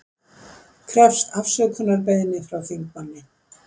Krefst afsökunarbeiðni frá þingmanni